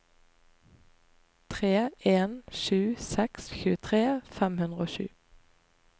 tre en sju seks tjuetre fem hundre og sju